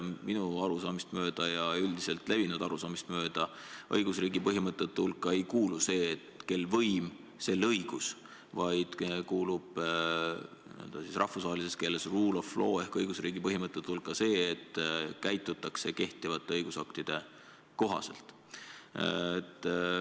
Minu arusaamist ja üldiselt levinud arusaamist mööda ei kuulu õigusriigi põhimõtete hulka see, et kel võim, sel õigus, vaid n-ö rahvusvahelises keeles "rule of law" ehk see, et käitutakse kehtivate õigusaktide kohaselt.